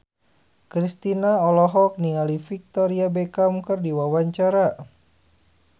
Kristina olohok ningali Victoria Beckham keur diwawancara